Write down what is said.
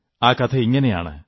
ആ കഥയിങ്ങനെയാണ്